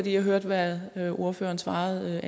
jeg hørte hvad ordføreren svarede